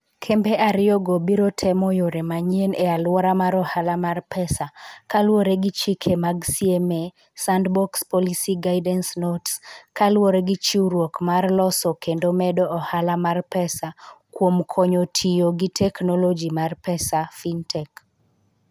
Kembe ariyogo biro temo yore manyien e alwora mar ohala mar pesa, kaluwore gi chike mag CMA Sandbox Policy Guidance Notes (PGN), kaluwore gi chiwruok mar loso kendo medo ohala mar pesa kuom konyo tiyo gi teknoloji mar pesa (fintech).